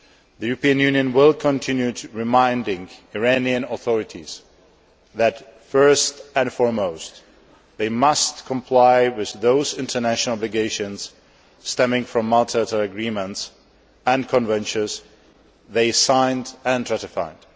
The European Union will continue reminding the Iranian authorities that, first and foremost, they must comply with those international obligations stemming from the multilateral agreements and conventions they have signed and ratified.